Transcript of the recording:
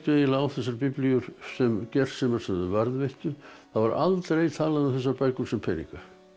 á þessar biblíur sem gersemar sem þau varðveittu það var aldrei talað um þessar bækur sem peninga